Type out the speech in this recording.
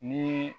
Ni